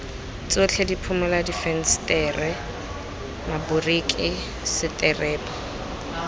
tsotlhe diphimola difensetere maboriki seterebo